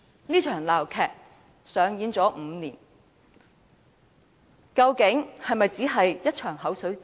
這場鬧劇上演了5年，究竟是否只是一場"口水戰"？